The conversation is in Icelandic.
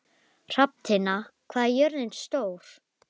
Hrafntinna, hvað er jörðin stór?